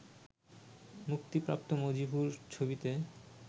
মুক্তিপ্রাপ্ত মজবুর ছবিতে